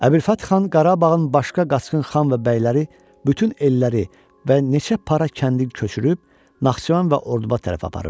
Əbülfəth xan Qarabağın başqa qaçqın xan və bəyləri bütün elləri və neçə para kəndi köçürüb Naxçıvan və Orduba tərəf aparırdılar.